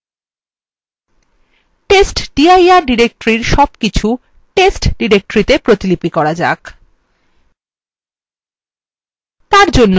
আসুন testdir directory সবকিছু test directory তে প্রতিলিপি করা যাক